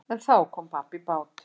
En þá kom babb í bát.